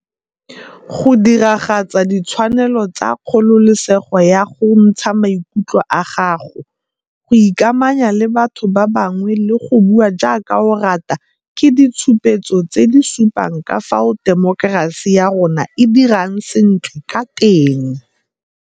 Go diragatsa ditshwanelo tsa kgololesego ya go ntsha maikutlo a gago, go ikamanya le batho ba bangwe le go bua jaaka o rata ke ditshupetso tse di supang ka fao temokerasi ya rona e dirang sentle ka teng.